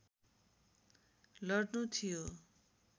लड्नु थियो